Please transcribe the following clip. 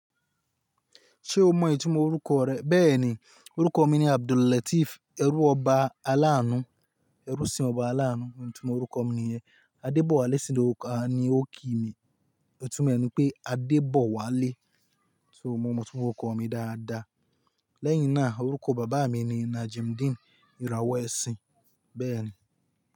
Ṣé o mọ ìtumọ̀ orúkọ rẹ? Bẹ́ẹ̀ni, orúkọ mi ni Abdul Lateef, ẹrú ọba aláàánú, ẹrú sí ọba aláàánú, òun ni ìtumọ̀ orúkọ mi nìyẹn. Adebowale sínú oka ni o ki mi, ìtumọ̀ ẹ̀ ni pé Adebowale. So mo mọ ìtumọ̀ orúkọ mi dáadáa. Lẹ́yìn náà orúkọ bàbá mi ni Najimuddin, ìràwọ̀ ẹ̀sìn. Bẹ́ẹ̀ni.